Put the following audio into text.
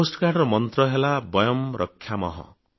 ତଟରକ୍ଷୀ ବାହିନୀର ମନ୍ତ୍ର ହେଲା ବୟମ୍ ରକ୍ଷାମଃ